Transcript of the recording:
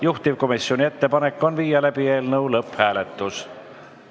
Juhtivkomisjoni ettepanek on läbi viia eelnõu lõpphääletus.